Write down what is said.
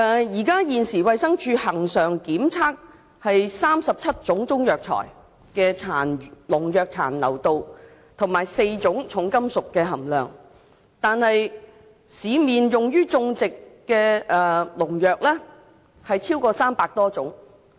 現時衞生署恆常檢測中藥材中37項農藥殘留量及4項重金屬含量；但市面用於種植的農藥超過300多種。